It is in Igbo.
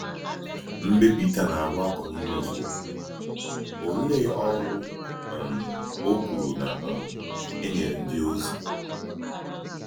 Mgbe Pítà na-agwà Kọnìlìọ́s òkwú, ò̀leè òrụ̀ um ó kwùrù na um e nyèrè ndíòzì?